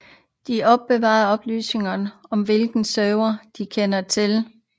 De opbevarer oplysninger om hvilke servere der kender til topniveaudomæner som dk og com